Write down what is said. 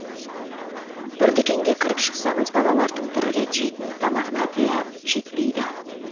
бір дүкенге кіріп шықсаңыз балалардың бір рет жейтін тамағына да жетпейді